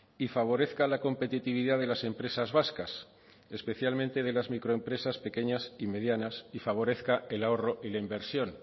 y favorezca la competitividad de las empresas vascas especialmente de las microempresas pequeñas y medianas y favorezca el ahorro y la inversión